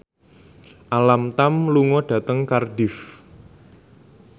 Alam Tam lunga dhateng Cardiff